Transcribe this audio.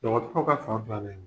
Dɔgɔtɔrɔ ka san filanan in